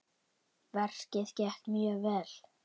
Verkið gekk mjög vel.